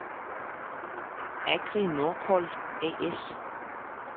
Agri-Norcold A/S